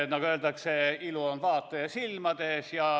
Nagu öeldakse, ilu on vaataja silmades.